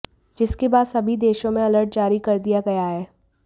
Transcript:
जिसके बाद सभी देशों में अलर्ट जारी कर दिया गया है